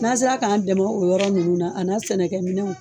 N'an sera k'an dɛmɛ o yɔrɔ ninnu na ,a n'a sɛnɛkɛ minɛw.